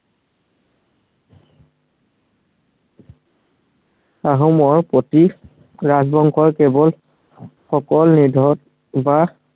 আহোমৰ প্ৰতীক, ৰাজবংশৰ সকল নিধন বা